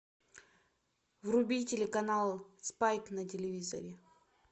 вруби телеканал спайк на телевизоре